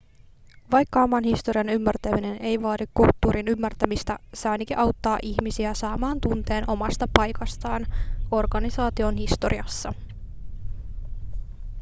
vaikka oman historian ymmärtäminen ei vaadi kulttuurin ymmärtämistä se ainakin auttaa ihmisiä saamaan tunteen omasta paikastaan organisaation historiassa